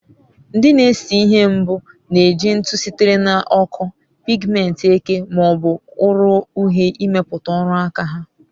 Ndị na-ese ihe mbụ na-eji ntụ sitere na ọkụ, pigmenti eke ma ọ bụ ụrọ uhie imeputa oru aka ha